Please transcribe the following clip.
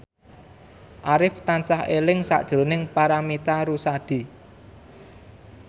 Arif tansah eling sakjroning Paramitha Rusady